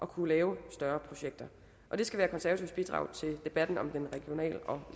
kunne lave større projekter det skal være konservatives bidrag til debatten om den regional og